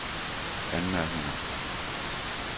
anmærkninger